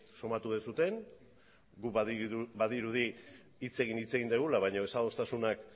somatu duzuen guk badirudi hitz egin hitz egin dugula baino desadostasunak